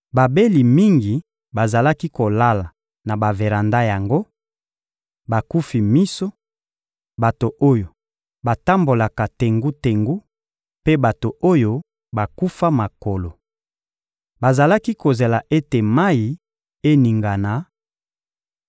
Babeli mingi bazalaki kolala na baveranda yango: bakufi miso, bato oyo batambolaka tengu-tengu mpe bato oyo bakufa makolo. [Bazalaki kozela ete mayi eningana,